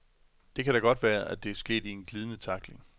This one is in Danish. Det kan da godt være, at det er sket i en glidende tackling .